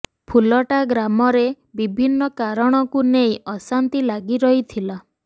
ଫୁଲଟା ଗ୍ରାମରେ ବିଭିନ୍ନ କାରଣକୁ ନେଇ ଅଶାନ୍ତି ଲାଗି ରହିଥିଲା